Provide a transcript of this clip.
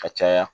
Ka caya